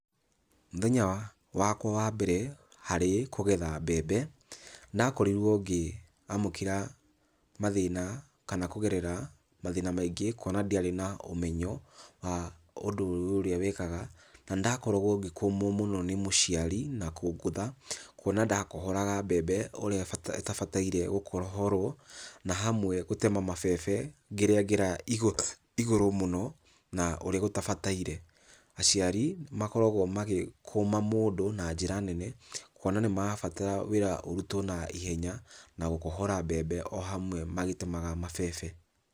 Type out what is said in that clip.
Mũthenya wakwa wa mbere harĩ kũgetha mbembe, nĩndakorirwo ngĩamũkĩra mathĩna kana kũgerera mathĩna maingĩ kuona ndiarĩ na ũmenyo wa ũndũ ũyũ ũrĩa wĩkaga. Na, nĩndakoragwo ngĩkũmwo mũno nĩ mũciari na kũngũtha, kuona ndakohoraga mbembe ũrĩa ĩtabataire gũkohorwo na hamwe gũtema mabebe ngĩrĩagĩra igũrũ mũno na ũrĩa gũtabataire. Aciari makoragwo magĩkũma mũndũ na njĩra nene kuona nĩmarabatara wĩra ũrutwo naihenya na gũkohora mbembe o hamwe magĩtemaga mabebe.